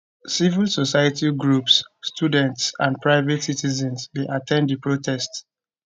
civil society groups students and private citizens bin at ten d di protest